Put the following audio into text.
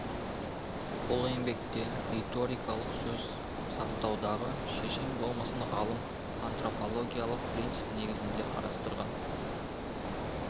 бұл еңбекте риторикалық сөз саптаудағы шешен болмысын ғалым антропологиялық принцип негізінде қарастырған